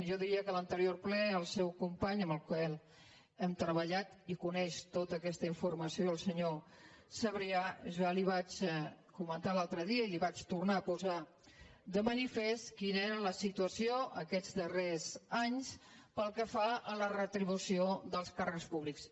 jo diria que a l’anterior ple el seu company amb el qual hem treballat i coneix tota aquesta infor·mació el senyor sabrià ja li ho vaig comentar l’altre dia i li vaig tornar a posar de manifest quina era la si·tuació aquests darrers anys pel que fa a la retribució dels càrrecs públics